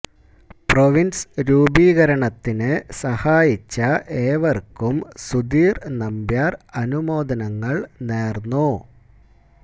province രൂപീകരണത്തിന് സഹായിച്ച ഏവർക്കും സുധിർ നമ്പ്യാർ അനുമോദനങ്ങൾ നേർന്നു